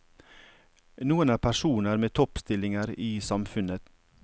Noen er personer med toppstillinger i samfunnet.